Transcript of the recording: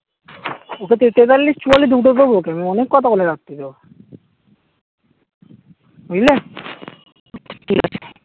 ওকে তো তেতাল্লিশ চুয়াল্লিশ দুটো দেব ওকে অনেক কথা বলে রাত্রে ও বুঝলে ঠিকাছে